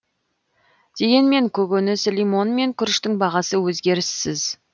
дегенмен көкөніс лимон мен күріштің бағасы өзгеріссіз